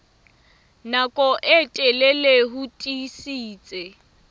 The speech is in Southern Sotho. nako e telele ho tiisitse